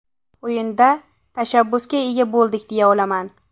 O‘yinda tashabbusga ega bo‘ldik deya olaman.